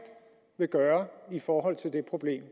vil gøre i forhold til det problem